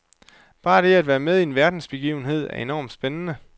Bare det at være med i en verdensbegivenhed er enormt spændende.